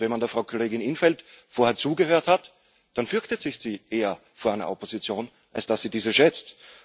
Und wenn man der Frau Kollegin in´t Veld vorher zugehört hat, dann fürchtet sie sich eher vor einer Opposition, als dass sie diese schätzt.